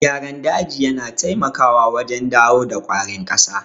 Gyaran daji yana taimakawa wajen dawo da ƙwarin ƙasa.